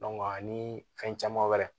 ani fɛn caman wɛrɛ